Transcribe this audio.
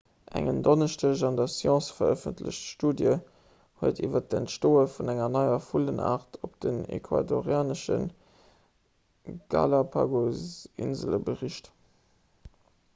eng en donneschdeg an der science verëffentlecht studie huet iwwer d'entstoe vun enger neier vullenaart op den ecuadorianesche galápagosinsele bericht